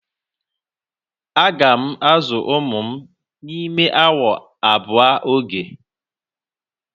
Aga m azụ ụmụ m n'ime awa abụọ oge.